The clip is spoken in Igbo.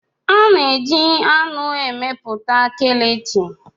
A na-eji anụ emepụta Kilichi.